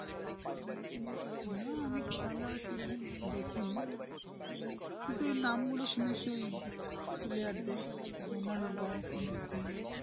না আমি খেলা সেরকম দেখিনি কিন্তু ওই নামগুলো শুনেছি ওই player দেড় রোনাল্ডো, মেসি।